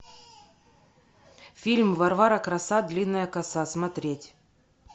фильм варвара краса длинная коса смотреть